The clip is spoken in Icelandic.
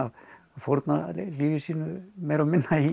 fórna lífi sínu meira og minna í